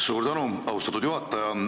Suur tänu, austatud juhataja!